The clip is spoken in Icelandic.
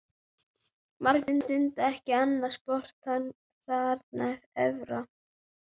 Margir stunda ekki annað sport þarna efra.